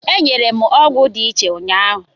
E nyere m ọgwụ dị iche ụnyaahụ.